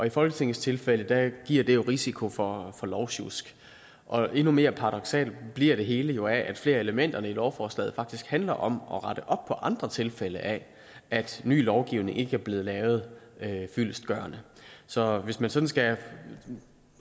i folketingets tilfælde giver det jo risiko for lovsjusk og endnu mere paradoksalt bliver det hele jo af at flere af elementerne i lovforslaget faktisk handler om at rette op på andre tilfælde af at ny lovgivning ikke er blevet lavet fyldestgørende så hvis man sådan skal